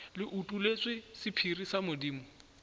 le utolletšwe sephiri sa modimo